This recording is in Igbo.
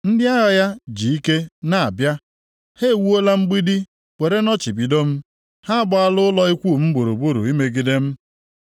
Ndị agha ya ji ike na-abịa; ha ewuola mgbidi were nnọchibido m ha agbaala ụlọ ikwu m gburugburu imegide m.